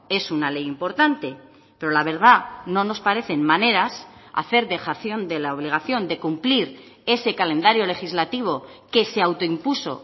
es una ley importante pero la verdad no nos parecen maneras hacer dejación de la obligación de cumplir ese calendario legislativo que se autoimpuso